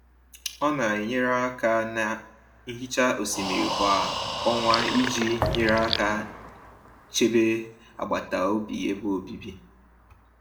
Ọ na-enyere aka na nhicha osimiri kwa ọnwa iji nyere aka chebe agbataobi ebe obibi.